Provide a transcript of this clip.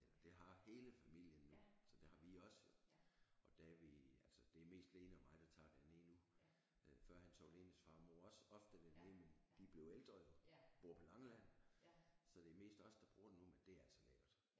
Eller det har hele familien nu så det har vi også jo og da vi altså det er mest Lene og mig der tager derned nu øh førhen tog Lenes far og mor også ofte derned men de er blevet ældre jo bor på Langeland så det er mest os der bruger det nu men det er altså lækkert